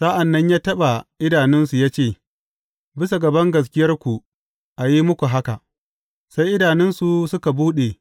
Sa’an nan ya taɓa idanunsu ya ce, Bisa ga bangaskiyarku a yi muku haka; sai idanunsu suka buɗe.